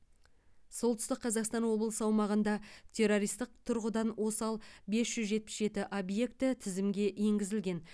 солтүстік қазақстан облысы аумағында террористік тұрғыдан осал бес жүз жетпіс жеті объекті тізімге енгізілген